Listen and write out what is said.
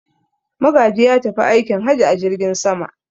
Magaji ya tafi aikin haji a jirgin sama.